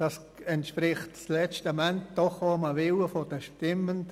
Das entspricht letzten Endes auch dem Willen der Stimmenden.